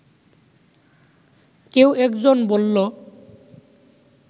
কেউ একজন বললো